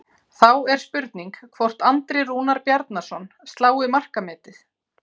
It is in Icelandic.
Þá er spurning hvort Andri Rúnar Bjarnason slái markametið?